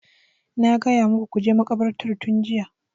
Na gaya muku ku je makabartar tun jiya!